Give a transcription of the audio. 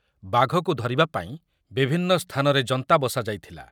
ବାଘକୁ ଧରିବା ପାଇଁ ବିଭିନ୍ନ ସ୍ଥାନରେ ଜନ୍ତା ବସାଯାଇଥିଲା ।